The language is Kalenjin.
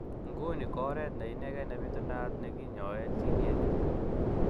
Nguni ko oret neinegen nepitunat nekinyoen CDA 2.